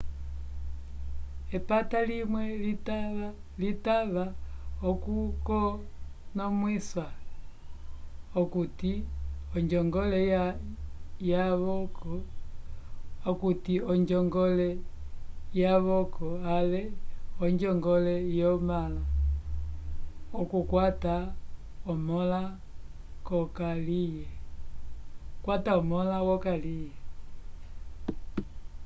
epata limwe litava okukonomwisa okuti onjongole yavoko ale onjongole yomõla okukwata omõla wokaliye